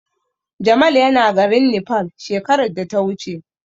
Jamal yana garin Nepal shekarar da ta wuce.